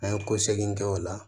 An ye ko seki kɛ o la